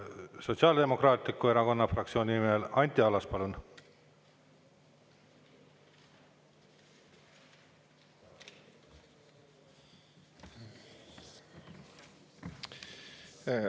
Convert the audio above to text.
Sotsiaaldemokraatliku Erakonna fraktsiooni nimel Anti Allas, palun!